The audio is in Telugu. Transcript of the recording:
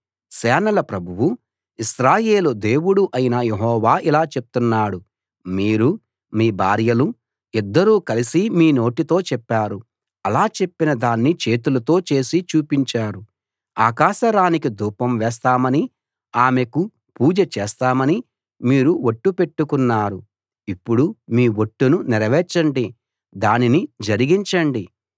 సేనల ప్రభువూ ఇశ్రాయేలు దేవుడూ అయిన యెహోవా ఇలా చెప్తున్నాడు మీరూ మీ భార్యలూ ఇద్దరూ కలసి మీ నోటితో చెప్పారు అలా చెప్పిన దాన్ని చేతులతో చేసి చూపించారు ఆకాశ రాణికి ధూపం వేస్తామనీ ఆమెకు పూజ చేస్తామనీ మీరు ఒట్టు పెట్టుకున్నారు ఇప్పుడు మీ ఒట్టును నెరవేర్చండి దానిని జరిగించండి